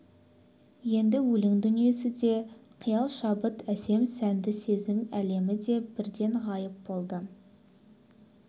енді өлең дүниесі де қиял шабыт әсем сәнді сезім әлемі де бірден ғайып болды